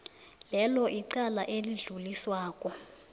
lelo icala elidluliswako